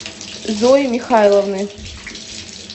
зои михайловны